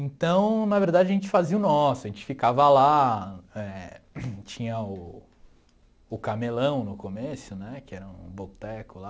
Então, na verdade, a gente fazia o nosso, a gente ficava lá eh, tinha o o Camelão no começo né, que era um boteco lá,